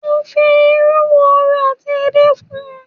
Mo fi ìrú wòrò ati ède kún